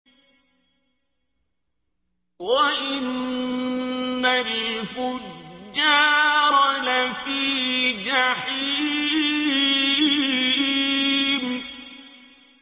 وَإِنَّ الْفُجَّارَ لَفِي جَحِيمٍ